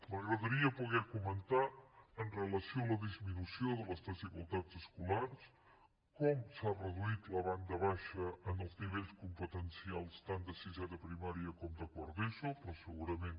m’agradaria poder comentar amb relació a la disminució de les desigualtats escolars com s’ha reduït la banda baixa en els nivells competencials tant de sisè de primària com de quart d’eso però segurament